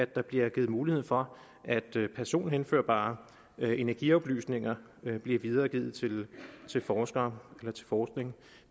der bliver givet mulighed for at personhenførbare energioplysninger bliver videregivet til forskere eller bruges til forskning